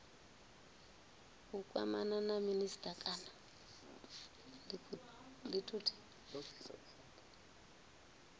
u kwamana na minisita kana